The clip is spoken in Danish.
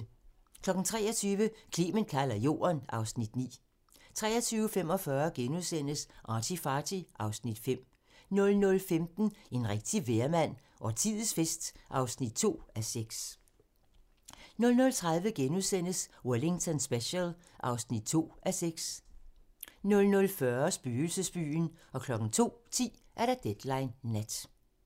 23:00: Clement kalder Jorden (Afs. 9) 23:45: ArtyFarty (Afs. 5)* 00:15: En rigtig vejrmand - Årtiets fest (2:6) 00:30: Wellington Special (2:6)* 00:40: Spøgelsesbyen 02:10: Deadline Nat